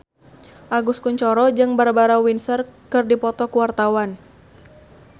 Agus Kuncoro jeung Barbara Windsor keur dipoto ku wartawan